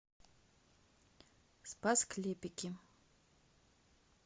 спас клепики